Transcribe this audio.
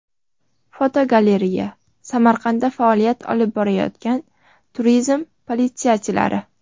Fotogalereya: Samarqandda faoliyat olib borayotgan turizm politsiyachilari.